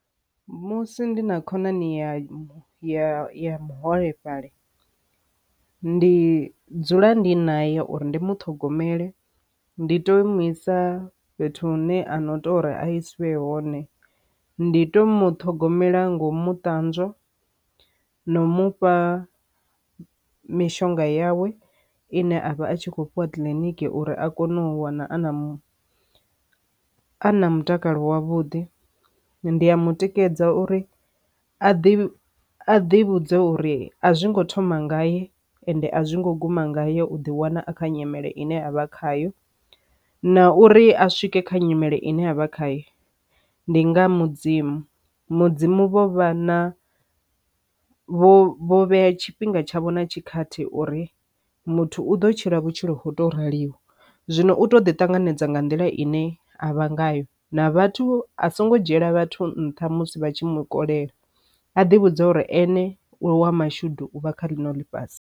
Musi ndi na khonani ya ya ya muholefhali ndi dzula ndi na ya uri ndi mu ṱhogomele ndi to imisa fhethu hune a no tou uri a isiwe hone ndi to muṱhogomela ngomu ṱanzwa no mufha mishonga yawe ine a vha a tshi kho fhiwa kiliniki uri a kone u wana a na a na mutakalo wa vhuḓi. Ndi ya mutikedza uri a ḓi a ḓi vhudza uri a zwi ngo thoma ngayo ende a zwi ngo guma ngayo u ḓi wana a kha nyimele ine avha khayo, na uri a swike kha nyimele ine avha khaye ndi nga mudzimu mudzimu vho vha na vho vhea tshifhinga tshavho na tshikhathi uri muthu u ḓo tshila vhutshilo to raliho. Zwino u to ḓi ṱanganedza nga nḓila ine a vha ngayo na vhathu a songo dzhiela vhathu nṱha musi vha tshi mu kolela a ḓi vhudza uri ene u wa mashudu u vha kha ḽino ḽifhasi.